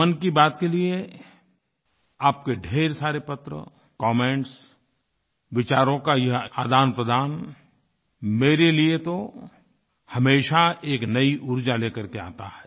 मन की बात के लिए आपके ढ़ेर सारे पत्र कमेंट्स विचारों का ये आदानप्रदान मेरे लिए तो हमेशा एक नई ऊर्जा लेकर के आता है